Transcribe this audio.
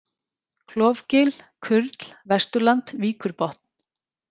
Klofgil, Kurl, Vesturland, Víkurbotn